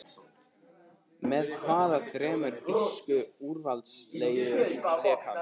Með hvaða þremur þýsku úrvalsdeildarliðum lék hann?